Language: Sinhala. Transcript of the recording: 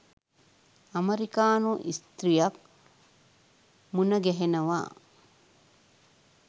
ඇමරිකානු ස්ත්‍රියක් මුණ ගැහෙනවා.